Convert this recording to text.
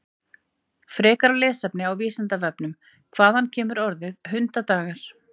Frekara lesefni á Vísindavefnum: Hvaðan kemur orðið hundadagar?